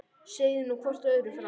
Segið nú hvort öðru frá.